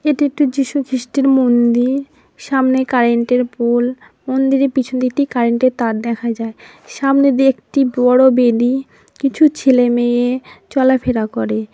এটি একটি যিশুখ্রিস্টের মন্দির সামনে কারেন্ট এর পুল মন্দিরে পিছন দিতি কারেন্ট এর তার দেখা যায় সামনে দিয়ে একটি বড় বেদি কিছু ছেলে মেয়ে চলাফেরা করে--